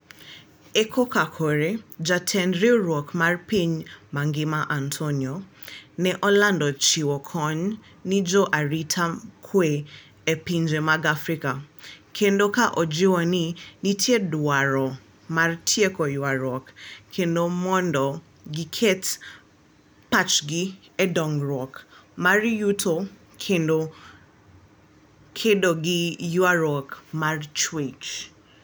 E koka kore, jatend riwruok mar piny mangima Antonio, ne olando chiwo kony ni jo arita kwe e pinje mag Afrika, kendo ka ojiwo ni nitie dwaro mar tieko ywaruok kendo mondo giket pachgi e dongruok mar yuto kendo kedo gi ywaruok mar chwech